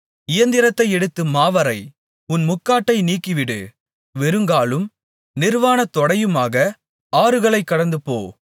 இயந்திரத்தை எடுத்து மாவரை உன் முக்காட்டை நீக்கிவிடு வெறுங்காலும் நிர்வாணத்தொடையுமாக ஆறுகளைக் கடந்துபோ